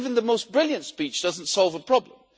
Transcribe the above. even the most brilliant speech does not solve a problem.